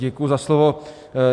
Děkuji za slovo.